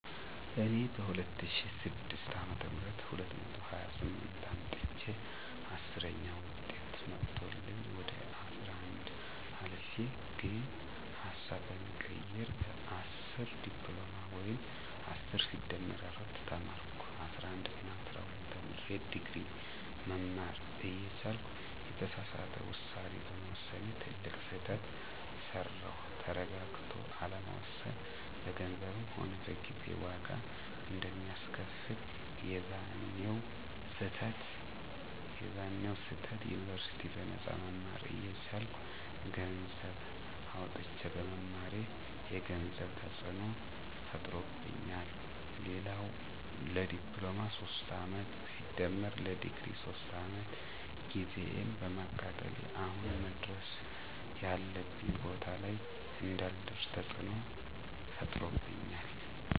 እኔ በ2006 አ /ም 228 አምጥቸየ 10ዉጤት መቶልኝ ወደ 11 አልፌ ግን ሀሳብ በመቀየር በ10 ዲፕሎማ ወይም10+4 ተማርኩ። 11እና 12ተምሬ ድግሪ መማር እየቻልኩ የተሳሳተ ዉሳኔ በመወሰኔ ትልቅ ስህተት ሰራዉ። ተረጋግቶ አለመወሰን በገንዘብም ሆነ በጊዜ ዋጋ አንደሚያስከፍል፦ የዛኔዉ ስህተት ዩኒበርሲቲ በነጳ መማር እየቻልኩ ገነሰዘብ አዉጥቸ በመማሬ የገንዘብ ተፅዕኖ ፈጥሮብኛል፣ ሌላዉ ለዲፕሎማ 3 አመት+ለድግሪ 3 አመት ጊዜየን በማቃጠሌ አሁን መድረስ ያለብኝ ቦታ ላይ እንዳልደርሰ ተፅዕኖ ፈጥሮብኛል